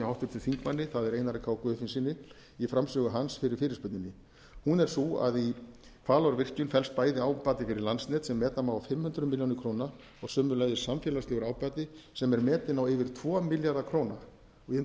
háttvirtum þingmanni það er einari k guðfinnssyni í framsögu hans fyrir fyrirspurninni hún er sú að í hvalárvirkjun felst bæði ábati fyrir landsnet sem meta má á fimm hundruð milljóna króna og sömuleiðis samfélagslegur ábati sem er metinn á yfir tvo milljarða króna ég undirstrika að þetta